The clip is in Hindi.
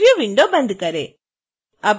preview विंडो बंद करें